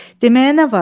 Deməyə nə var?